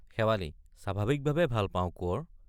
শেৱালি— স্বাভাৱিক ভাৱে পাও কোঁৱৰ।